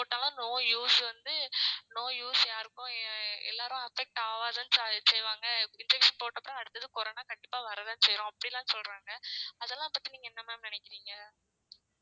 போட்டாலும் no use வந்து no use யாருக்கும். எல்லாரும் affect ஆவதான் செய்வாங்க injection அடுத்தது corona கண்டிப்பாக வரத்தான் செய்யும் அப்படியெல்லாம் சொல்றாங்க அதலாம் பத்தி நீங்க என்ன ma'am நினைக்கிறீங்க